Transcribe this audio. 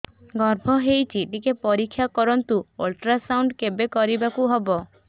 ଗର୍ଭ ହେଇଚି ଟିକେ ପରିକ୍ଷା କରନ୍ତୁ ଅଲଟ୍ରାସାଉଣ୍ଡ କେବେ କରିବାକୁ ହବ